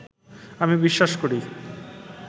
আমি বিশ্বাস করি